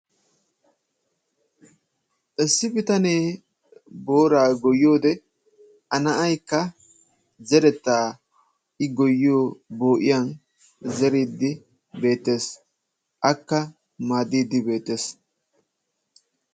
Issi bitanee booraa goyyiyode A na'aykka zerettaa i goyyiyo boo'iyan zeriiddi beettees. Akka maaddiiddi beettees.